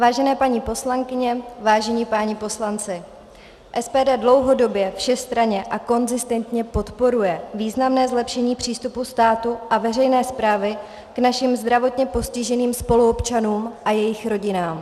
Vážené paní poslankyně, vážení páni poslanci, SPD dlouhodobě všestranně a konzistentně podporuje významné zlepšení přístupu státu a veřejné správy k našim zdravotně postiženým spoluobčanům a jejich rodinám.